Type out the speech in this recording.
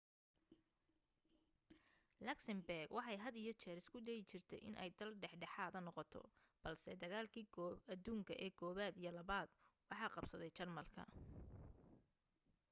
luxembourg waxay had iyo jeer isku dayi jirtay inay dal dhexdhexaada noqoto balse dagaaladii aduunka ee i iyo ii waxa qabsaday jarmalka